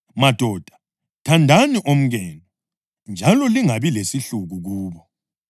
Madoda, thandani omkenu njalo lingabi lesihluku kubo.